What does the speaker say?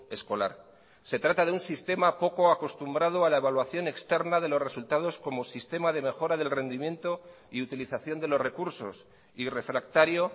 escolar se trata de un sistema poco acostumbrado a la evaluación externa de los resultados como sistema de mejora del rendimiento y utilización de los recursos y refractario